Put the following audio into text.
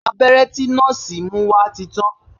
Abẹ́rẹ́ tí nọ́ọ̀sì mú wá ti tàn